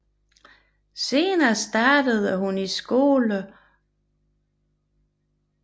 Senere startede hun i skole på Telopea Park School og Sankt Clares College